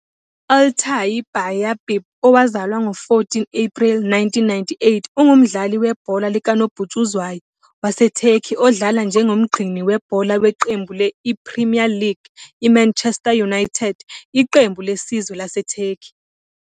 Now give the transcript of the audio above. U-I-Altay Bayapi, owazalwa ngo-14 April 1998, ungumdlali webhola likanobhutshuzwayo waseTurkey odlala njengomgcini webhola weqembu le-I-Premier League I-Manchester United Iqembu lesizwe laseTurkey.